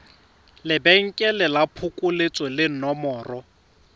lebenkele la phokoletso le nomoro